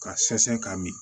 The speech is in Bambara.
Ka sɛnsɛn ka min